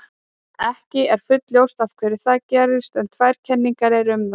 ekki er fullljóst af hverju það gerist en tvær kenningar eru um það